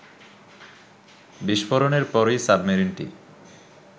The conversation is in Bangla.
বিস্ফোরণের পরই সাবমেরিনটি